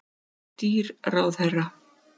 Of dýr ráðherra